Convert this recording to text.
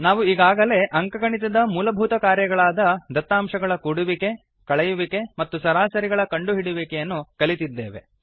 ನಾವು ಈಗಾಗಲೇ ಅಂಕಗಣಿತದ ಮೂಲಭೂತ ಕಾರ್ಯಗಳಾದ ದತ್ತಾಂಶಗಳ ಕೂಡುವಿಕೆ ಕಳೆಯುವಿಕೆ ಮತ್ತು ಸರಾಸರಿಗಳ ಕಂಡುಹಿಡಿಯುವಿಕೆಯನ್ನು ಕಲಿತಿದ್ದೇವೆ